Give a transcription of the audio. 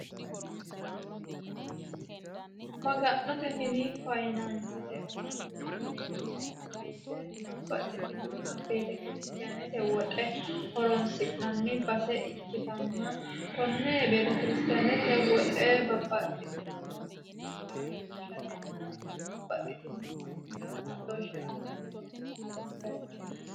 Maga'note mini faayyinansete owaante yineemmo woyte babbaxitinoha betekiristanete woxe horonsi'nanni base ikkittanna kone betekiristanete woxe babbaxitinore wongellaho loossate babbaxitino mannotira kaa'lo assate horonsi'nanni bayichoti.